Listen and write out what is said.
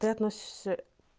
ты относишься